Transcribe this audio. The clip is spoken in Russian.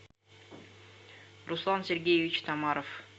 руслан сергеевич тамаров